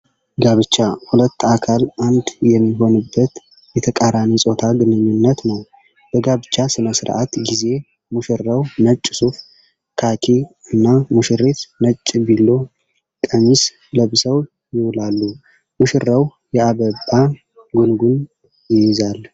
ጋብቻ ሁለት አካል አንድ የሚሆንበት የተቃራኒ ፆታ ግንኙነት ነው። በጋብቻ ስነ-ስርዓት ጊዜ ሙሽራው ነጭ ሱፍ (ካኪ) እና ሙሽሪት ነጭ ቢሎ ( ቀሚስ) ለብሰው ይውላሉ። ሙሽራው የአበባ ጉንጉን ይይዛል።